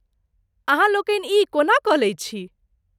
अहाँ लोकनि ई कोना कऽ लैत छी?